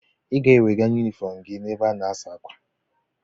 Ị ga-ewega yunifọm gị n'ebe a na-asa ákwà.